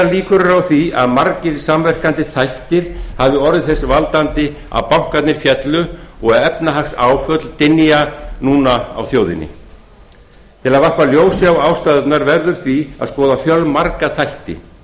líkur eru á því að margir samverkandi þættir hafi orðið til þess að bankarnir féllu og efnahagsáföll dynja núna á þjóðinni til að varpa ljósi á ástæðurnar verður því að skoða fjölmarga þætti